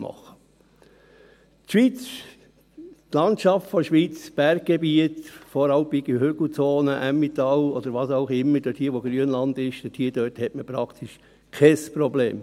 Die Schweiz, die Landschaft der Schweiz, das Berggebiet, voralpine Hügelzonen, Emmental, oder was auch immer: Dort, wo Grünland ist, hat man praktisch kein Problem.